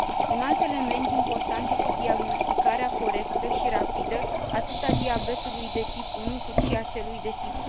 Un alt element important este diagnosticarea corectă și rapidă atât a diabetului de tip 1, cât și a celui de tip